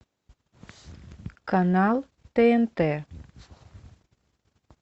канал тнт